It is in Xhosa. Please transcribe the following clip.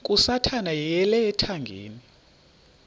kasathana yeyele ethangeni